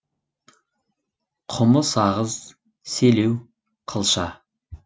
құмы сағыз селеу қылша